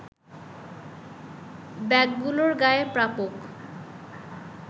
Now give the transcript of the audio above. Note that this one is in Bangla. ব্যাগগুলোর গায়ে প্রাপক